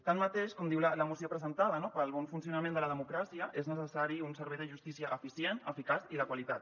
tanmateix com diu la moció presentada pel bon funcionament de la democràcia és necessari un servei de justícia eficient eficaç i de qualitat